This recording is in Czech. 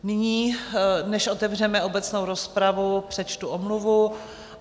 Nyní, než otevřeme obecnou rozpravu, přečtu omluvu.